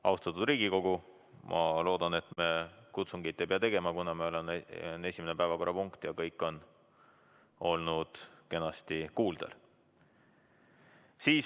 Austatud Riigikogu, ma loodan, et me kutsungit ei pea tegema, kuna on esimene päevakorrapunkt ja kõik on olnud kenasti kuuldel.